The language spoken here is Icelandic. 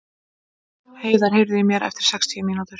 Heiðar, heyrðu í mér eftir sextíu mínútur.